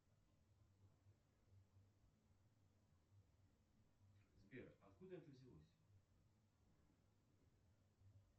сбер откуда это взялось